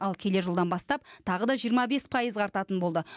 ал келер жылдан бастап тағы да жиырма бес пайызға артатын болды